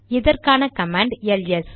இதற்கான command LS